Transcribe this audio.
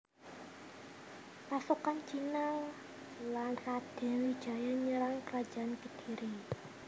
Pasukan Cina lan Radén Wijaya nyerang Kerajaan Kediri